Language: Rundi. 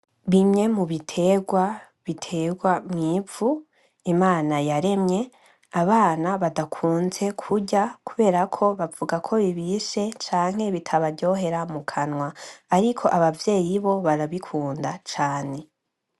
Bimwe mu bitegwa ; bitegwa mw'ivu Imana yaremye abana badakunze kurya kuberako bavugako bibishe canke bitabaryohera mu kanwa. Ariko abavyeyi bo barabikunda cane.